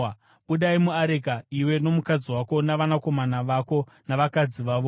“Budai muareka, iwe nomukadzi wako navanakomana vako navakadzi vavo.